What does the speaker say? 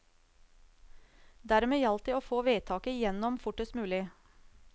Dermed gjaldt det å få vedtaket igjennom fortest mulig.